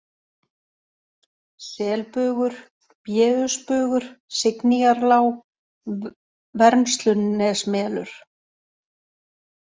Selbugur, Béusbugur, Signýjarlág, Vermslunesmelur